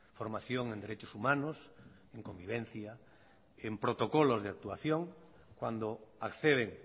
formación en derechos humanos en convivencia en protocolos de actuación cuando acceden